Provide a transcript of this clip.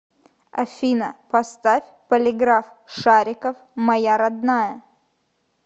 афина поставь полиграф шарикоф моя родная